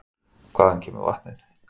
Hvaðan kemur vatnið?